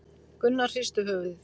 Gunnar hristi höfuðið.